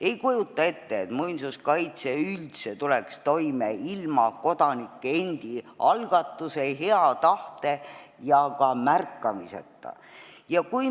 Ei kujuta ette, et muinsuskaitse üldse tuleks toime ilma kodanike endi algatuse, hea tahte ja ka märkamiseta.